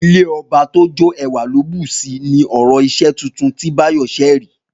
Ilé ọba tó jó ẹwà ló bùsi ni ọ̀rọ̀ iṣẹ́ tuntun tí Báyọ̀ ṣẹ̀ rí